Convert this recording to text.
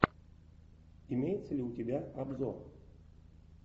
имеется ли у тебя обзор